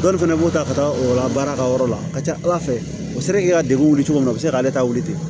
Dɔw fɛnɛ b'u ta ka taa o la baara ka yɔrɔ la a ka ca ala fɛ u sera k'i ka degun wuli cogo min na u bɛ se k'ale ta wuli ten